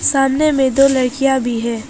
सामने में दो लड़कियां भी हैं।